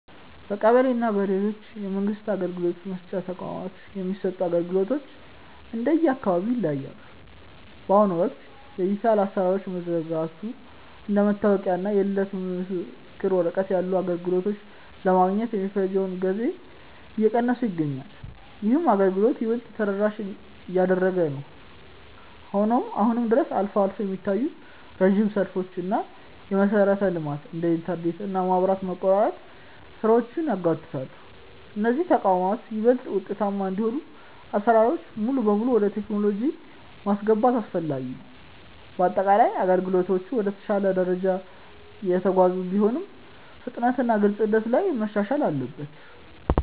በቀበሌ እና በሌሎች የመንግስት አገልግሎት መስጫ ተቋማት የሚሰጡ አገልግሎቶች እንደየአካባቢው ይለያያሉ። በአሁኑ ወቅት የዲጂታል አሰራሮች መዘርጋቱ እንደ መታወቂያ እና የልደት ምስክር ወረቀት ያሉ አገልግሎቶችን ለማግኘት የሚፈጀውን ጊዜ እየቀነሰው ይገኛል። ይህም አገልግሎቱን ይበልጥ ተደራሽ እያደረገው ነው። ሆኖም አሁንም ድረስ አልፎ አልፎ የሚታዩ ረጅም ሰልፎች እና የመሰረተ ልማት (እንደ ኢንተርኔት እና መብራት) መቆራረጥ ስራዎችን ያጓትታሉ። እነዚህ ተቋማት ይበልጥ ውጤታማ እንዲሆኑ አሰራሮችን ሙሉ በሙሉ ወደ ቴክኖሎጂ ማስገባት አስፈላጊ ነው። በአጠቃላይ አገልግሎቶቹ ወደ ተሻለ ደረጃ እየተጓዙ ቢሆንም፣ ፍጥነትና ግልጽነት ላይ መሻሻል አለበት።